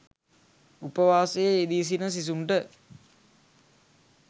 උපවාසයේ යෙදී සිටින සිසුන්ට